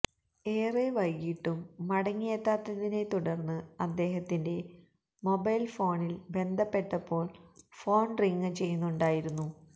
ഏറെ വൈകിയിട്ടും മടങ്ങിയെത്താത്തതിനെ തുടര്ന്ന് അദ്ദേഹത്തിന്റെ മൊബൈല് ഫോണില് ബന്ധപ്പെട്ടപ്പോള് ഫോണ് റിംഗ് ചെയ്യുന്നുണ്ടായിരുന്നു